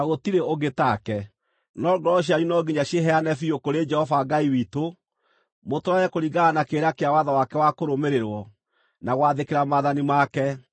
No ngoro cianyu no nginya ciĩheane biũ kũrĩ Jehova Ngai witũ, mũtũũrage kũringana na kĩrĩra kĩa watho wake wa kũrũmĩrĩrwo, na gwathĩkĩra maathani make, ta ũrĩa kũrĩ rĩu.”